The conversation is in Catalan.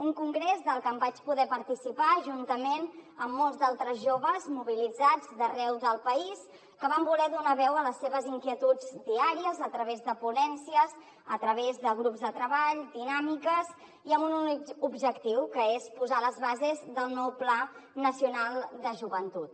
un congrés del que vaig poder participar juntament amb molts altres joves mobilitzats d’arreu del país que van voler donar veu a les seves inquietuds diàries a través de ponències a través de grups de treball dinàmiques i amb un únic objectiu que és posar les bases del nou pla nacional de joventut